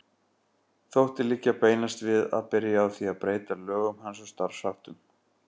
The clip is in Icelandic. Þótti liggja beinast við að byrja á því að breyta lögum hans og starfsháttum.